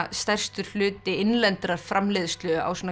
stærstur hluti innlendrar framleiðslu á svona